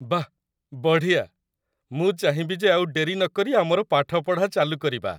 ବାଃ, ବଢ଼ିଆ! ମୁଁ ଚାହିଁବି ଯେ ଆଉ ଡେରି ନକରି ଆମର ପାଠପଢ଼ା ଚାଲୁ କରିବା !